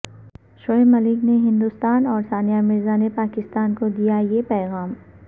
شعیب ملک نے ہندوستان اور ثانیہ مرزا نے پاکستان کو دیا یہ پیغام